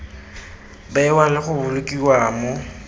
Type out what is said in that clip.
bewa le go bolokiwa mo